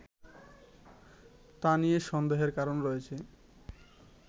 তা নিয়ে সন্দেহের কারণ রয়েছে